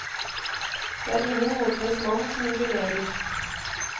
Det er ingen motløs mann som jubilerer.